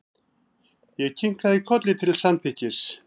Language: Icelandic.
Ég kinkaði kolli til samþykkis.